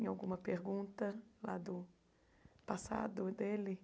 em alguma pergunta, lá do passado dele.